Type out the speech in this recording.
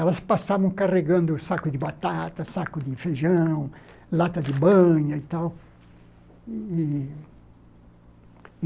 Elas passavam carregando saco de batata, saco de feijão, lata de banha e tal. E